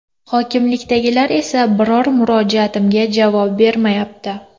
Hokimlikdagilar esa biror murojaatimga javob bermayapti.